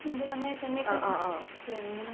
মোৰে মানে তেনেকুৱা